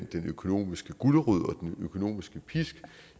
den økonomiske gulerod og den økonomiske pisk